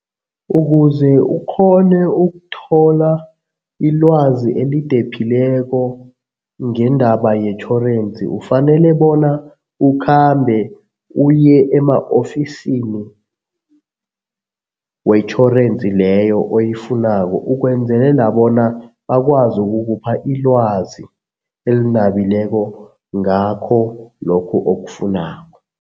Ukuze ukghone ukuthola ilwazi elidephileko ngendaba yetjhorensi, ufanele bona ukhambe uye ema-ofisini wetjhorensi leyo oyifunako ukwenzelela bona bakwazi ukukupha ilwazi elinabileko ngakho lokhu okufunako.